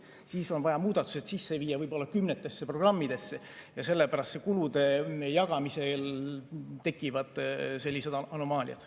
Siis on vaja muudatused sisse viia kümnetesse programmidesse ja sellepärast kulude jagamisel tekivad sellised anomaaliad.